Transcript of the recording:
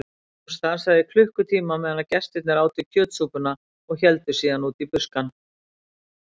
Hún stansaði í klukkutíma meðan gestirnir átu kjötsúpuna og héldu síðan út í buskann.